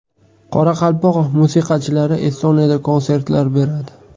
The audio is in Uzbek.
Qoraqalpoq musiqachilari Estoniyada konsertlar beradi.